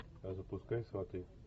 запускай сваты